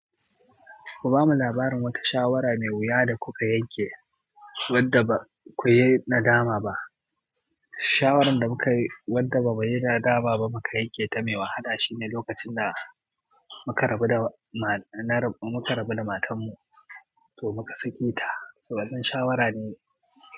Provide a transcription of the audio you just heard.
Ku bamu labarin wata shawara mai wuya da kuka yanke wadda haƙuri nadama ba shawaran da mukayi wadda ba muyi nadama ba muka yanke ta mai wahala shine lokacin da muka rabu da matar mu, to muka sake ta. Saboda shawara ne.